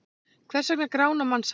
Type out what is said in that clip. Hvers vegna grána mannshár?